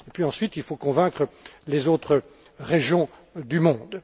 Ensuite, il faut convaincre les autres régions du monde.